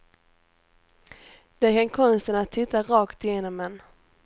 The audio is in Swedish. De kan konsten att titta rakt igenom en.